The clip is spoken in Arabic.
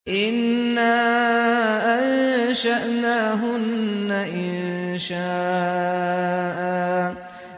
إِنَّا أَنشَأْنَاهُنَّ إِنشَاءً